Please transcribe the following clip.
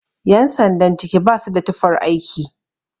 Yan sandan ciki ba su da tufar aiki